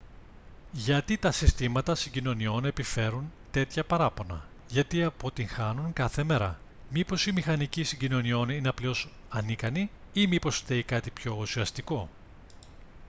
γιατί τα συστήματα συγκοινωνιών επιφέρουν τέτοια παράπονα γιατί αποτυγχάνουν κάθε μέρα μήπως οι μηχανικοί συγκοινωνιών είναι απλώς ανίκανοι ή μήπως φταίει κάτι πιο ουσιαστικό